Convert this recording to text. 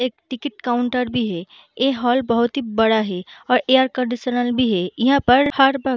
एक ticket counter भी है ऐ हॉल बहुत ही बड़ा है और एयर कंडीशनर भी है ईहाँ पर हर वक़्त --